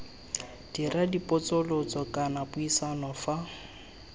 dira dipotsolotso kana puisano fa